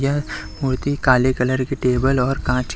यह मूर्ति काले कलर की टेबल और काँच--